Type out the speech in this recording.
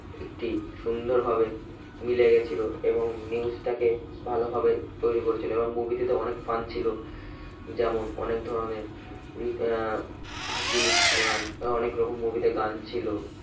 একটি সুন্দরভাবে মিলে গেছিল এবং news টাকে ভালোভাবে তৈরি করেছিল এবং movie টিতে অনেক fun ছিল যেমন অনেক ধরনের আহ হাসি অনেক রকম movie তে গান ছিল